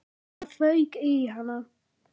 Það fauk í hana.